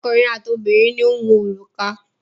Ọkùnrin àti obìnrin ni ó ń wọ òrùka.